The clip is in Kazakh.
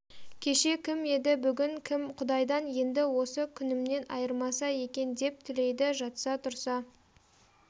кеше кім еді бүгін кім құдайдан енді осы күнімнен айырмаса екен деп тілейді жатса-тұрса